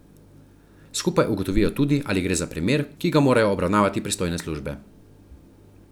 Skupaj ugotovijo tudi, ali gre za primer, ki ga morajo obravnavati pristojne službe.